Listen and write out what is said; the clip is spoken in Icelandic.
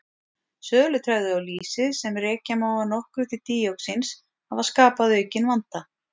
Sölutregðu á lýsi, sem rekja má að nokkru til díoxíns hafa skapað aukinn vanda.